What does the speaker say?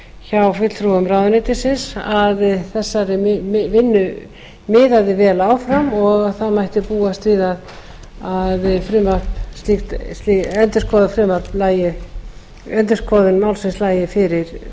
hjá fulltrúum ráðuneytisins að þessari vinnu miðaði vel áfram og að það mætti búast við að endurskoðun málsins lægi fyrir